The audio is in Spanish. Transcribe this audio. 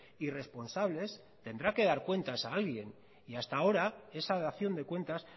irresponsables tendrá que dar cuentas a alguien y hasta ahora esa dación de cuentas